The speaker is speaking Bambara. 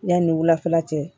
Yanni wulafɛla cɛ